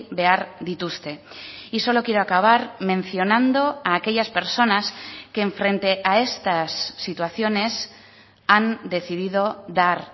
behar dituzte y solo quiero acabar mencionando a aquellas personas que enfrente a estas situaciones han decidido dar